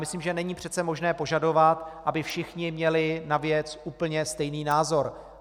Myslím, že není přece možné požadovat, aby všichni měli na věc úplně stejný názor.